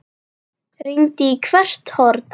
Rýndi í hvert horn.